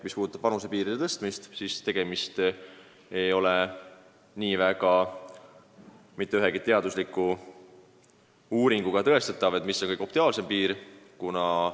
Mis puudutab vanusepiiride tõstmist, siis ei ole mitte ühegi teadusliku uuringuga tõestatav, milline lahendus on optimaalne.